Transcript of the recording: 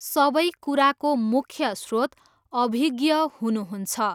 सबै कुराको मुख्य स्रोत अभिज्ञः हुनुहुन्छ।